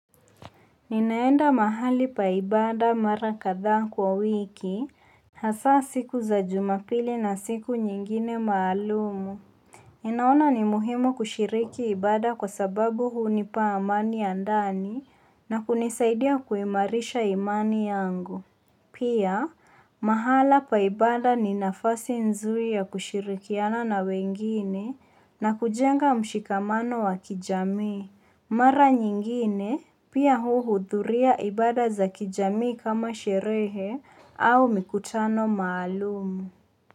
Ninaenda mahali pa ibada mara kadhaa kwa wiki, hasa siku za jumapili na siku nyingine maalumu. Ninaona ni muhimu kushiriki ibada kwa sababu hunipa amani ya ndani na kunisaidia kuimarisha imani yangu. Pia, mahala pa ibada ni nafasi nzuri ya kushirikiana na wengine na kujenga mshikamano wa kijamii. Mara nyingine pia huhudhuria ibada za kijamii kama sherehe au mikutano maalumu.